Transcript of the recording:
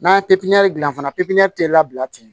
N'an ye pipiniyɛri gilan fana pipiniyɛri tɛ labila ten